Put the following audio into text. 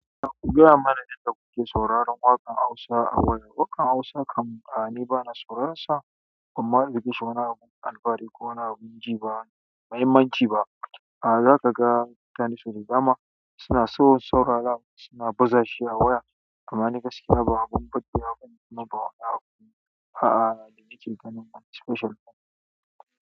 Ku gaya mana yadda kuke sauraron waƙan Hausa a waya. Waƙan Hausa kam, a ni ba na sauransa, kuma ban ji wani alfari ko na bin ji ba, mahimmanci ba. Ah zakaga mutane sau da dama suna so saurara suna bazashi a waya amma ni gaskiya abin burgewa. A'a, ni cikin ganin special ba.